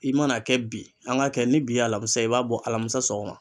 I mana kɛ bi an ga kɛ ni bi ye alamusa ye, i b'a bɔ alamisa sɔgɔma.